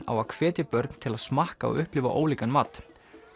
á að hvetja börn til að smakka og upplifa ólíkan mat